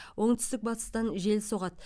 оңтүстік батыстан жел соғады